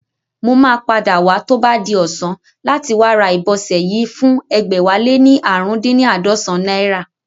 Mo máa padà wá tó bá di ọ̀sán láti wá ra ìbọsẹ̀ yìí fún ẹgbẹ̀wáléní ààrùndínní àádọ́sán náírà